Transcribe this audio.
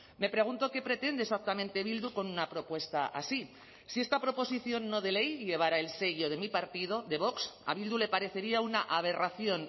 me pregunto qué pretende exactamente bildu con una propuesta así si esta proposición no de ley llevara el sello de mi partido de vox a bildu le parecería una aberración